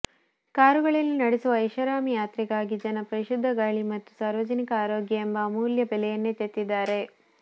ಕಾರುಗಳಲ್ಲಿ ನಡೆಸುವ ಐಷಾರಾಮಿ ಯಾತ್ರೆಗಾಗಿ ಜನ ಪರಿಶುದ್ಧ ಗಾಳಿ ಮತ್ತು ಸಾರ್ವಜನಿಕ ಆರೋಗ್ಯ ಎಂಬ ಅಮೂಲ್ಯ ಬೆಲೆಯನ್ನೇ ತೆತ್ತಿದ್ದಾರೆ